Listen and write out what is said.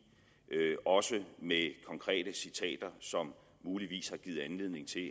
også med konkrete citater som muligvis har givet anledning til